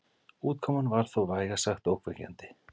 Útkoman var þó vægast sagt ógnvekjandi.